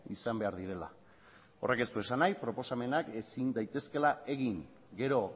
izan behar direla horrek ez du esan nahi proposamenak ezin daitezkeela egin gero